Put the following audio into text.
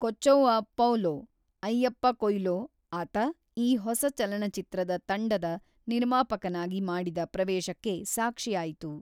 ಕೊಚ್ಚೌವ ಪೌಲೊ ಅಯ್ಯಪ್ಪ ಕೊಯ್ಲೊ ಆತ ಈ ಹೊಸ ಚಲನಚಿತ್ರದ ತಂಡದ ನಿರ್ಮಾಪಕನಾಗಿ ಮಾಡಿದ ಪ್ರವೇಶಕ್ಕೆ ಸಾಕ್ಷಿಯಾಯಿತು.